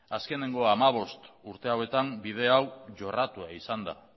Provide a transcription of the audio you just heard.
azkenengo hamabost urte hauetan bide hau jorratua izan da